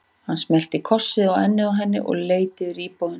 Hann smellti kossi á ennið á henni og leit yfir íbúðina.